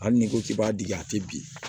Hali n'i ko k'i b'a degi a tɛ bin